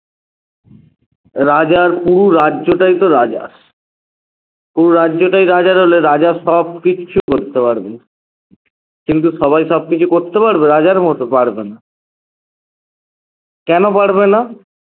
রাজার পুরো রাজ্যটাই তো রাজার পুরো রাজ্যটাই রাজার হলে রাজা সবকিছু করতে পারবে কিন্তু সবাই সবকিছু করতে পারবে রাজার মত? পারবেনা কেন পারবে না?